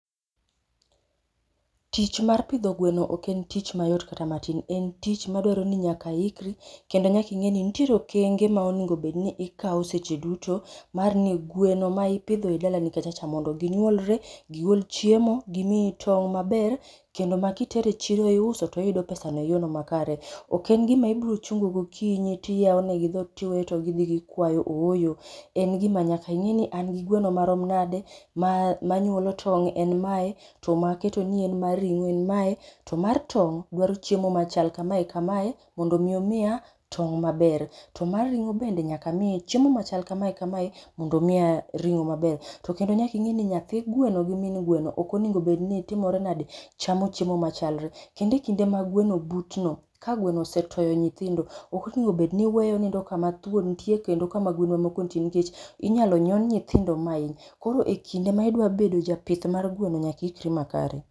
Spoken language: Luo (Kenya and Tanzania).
Tich mar pidho gweno ok en tich mayot kata matin. En tich madwaro ni nyaka iikri, kendo nyak ing'e ni nitiere okenge ma onego bedni ikaw seche duto mar ni gweno ma ipidho e dalani kacha cha mondo ginyuolre, gigol chiemo, gimiyi tong' maber kendo ma kitero e chiro iuso to oyudo pesano e yono makare. Ok en gima ibrochungo gokinyi tiyaw negi dhot tiweyo to gidhi gikwayo ooyo, en gima nyaka ing'e ni an gi gweno marom nade ma ma nyuolo tong' en mae, to ma aketo ni mar rig'o en mae, to mar tong' dwaro chiemo machal kamae kamae, mondo mi omiya tong' maber. To mar ring'o bende nyaka amiye chiemo machal kamae kamae mondo omiya ring'o maber. To kendo nyaka ing'e ni nyathi gweno gi min gweno ok onego bed ni timore nade? chamo chiemo machalre. Kendo e kinde ma gweno butno, ka gweno osetoyo nyithindo, ok onego obedni iweyo onindo kama thuon nitie kendo kama gwen ma moko nitie nikech inyalo nyon nyithindo mainy. Koro e kinde ma idwa bedo japith mar gweno nyaka iikri makare